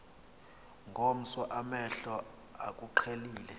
ngomso amehlo akuqhelile